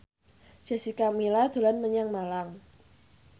Jessica Milla dolan menyang Malang